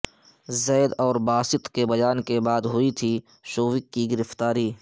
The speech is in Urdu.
زید اور باسط کے بیان کے بعد ہوئی تھی شووک کی گرفتاری